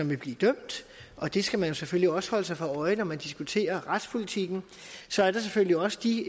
vil blive dømt og det skal man selvfølgelig også holde sig for øje når man diskuterer retspolitikken så er der selvfølgelig også de